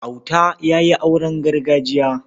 Auta ya yi auren gargajiya.